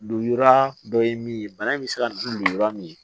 Donra dɔ ye min ye bana in bɛ se ka dun lujura min ye